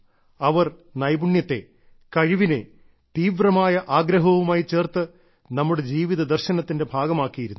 അവർ നൈപുണ്യത്തെ കഴിവിനെ തീവ്രമായ ആഗ്രഹവുമായി ചേർത്ത് നമ്മുടെ ജീവിത ദർശനത്തിന്റെ ഭാഗമാക്കിയിരുന്നു